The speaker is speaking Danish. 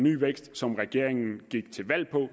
ny vækst som regeringen gik til valg på